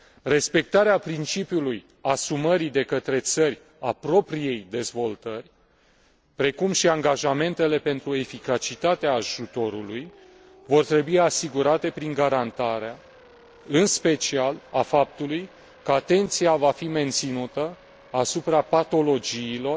Respectarea principiului asumării de către țări a propriei dezvoltări, precum și angajamentele pentru eficacitatea ajutorului, vor trebui asigurate prin garantarea, în special, a faptului că atenția va fi menținută asupra patologiilor